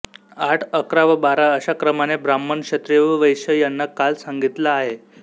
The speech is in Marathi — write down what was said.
आठ अकरा व बारा अशा क्रमाने ब्राह्मण क्षत्रिय व वैश्य यांना काल सांगितला आहे